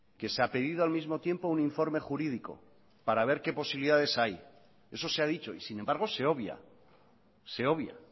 que se ha pedido al mismo tiempo un informe jurídico para ver qué posibilidades hay eso se ha dicho y sin embargo se obvia se obvia